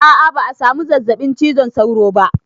A'a ba a samu zazzaɓin cizon sauro ba